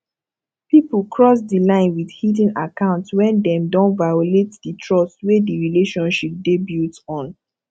pipo cross di line with hidden account when dem don violate di trust wey di relationship dey built on